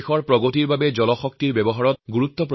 দেশৰ উন্নতি তেতিয়াই হব যেতিয়া পানীৰ ব্যৱহাৰ সঠিকভাৱে হব